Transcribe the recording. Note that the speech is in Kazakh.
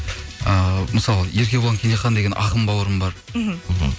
ііі мысалы еркебұлан кенжехан деген ақын бауырым бар мхм мхм